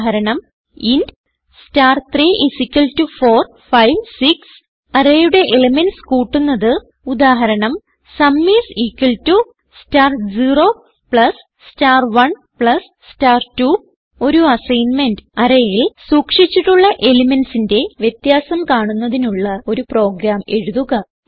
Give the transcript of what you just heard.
ഉദാഹരണം int star34 5 6 array യുടെ elements കൂട്ടുന്നത് ഉദാഹരണം sum is equal to star 0 plus star 1 plus star 2 ഒരു അസ്സൈന്മെന്റ് arrayയിൽ സൂക്ഷിച്ചിട്ടുള്ള elementsന്റെ വ്യത്യാസം കാണുന്നതിനുള്ള ഒരു പ്രോഗ്രാം എഴുതുക